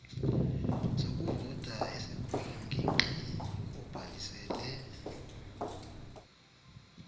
sokuvota esikwingingqi obhalisele